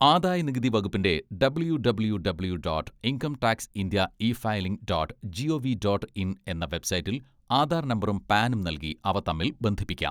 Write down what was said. ആദായ നികുതി വകുപ്പിന്റെ W W W dot income tax India e filing dot G O V dot in എന്ന വെബ്സൈറ്റിൽ ആധാർ നമ്പറും പാനും നൽകി അവ തമ്മിൽ ബന്ധിപ്പിക്കാം.